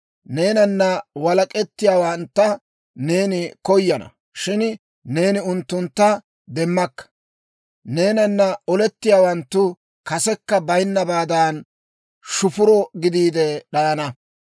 Neenana walak'etiyaawantta neeni koyana; shin neeni unttuntta demmakka. Neenana olettiyaawanttu kasekka bayinnabaadan, shufuro gidiide d'ayana.